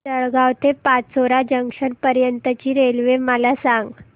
जळगाव ते पाचोरा जंक्शन पर्यंतची रेल्वे मला सांग